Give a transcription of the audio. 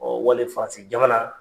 Ɔɔ wali faransi jamana